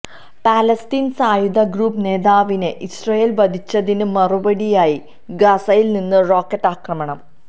Palestine സായുധ group നേതാവിനെ Israel വധിച്ചതിന് മറുപടിയായി ഗാസയിൽ നിന്ന് റോക്കറ്റ് ആക്രമണം